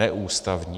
Neústavní.